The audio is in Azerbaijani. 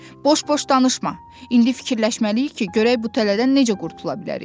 Boş-boş danışma, indi fikirləşməliyik ki, görək bu tələdən necə qurtula bilərik.